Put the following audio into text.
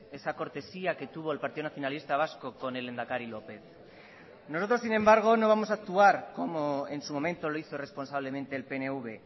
esa cortesía que tuvo el partido nacionalista vasco con el lehendakari lópez nosotros sin embargo no vamos a actuar como en su momento lo hizo responsablemente el pnv